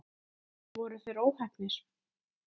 Voru þeir óheppnir?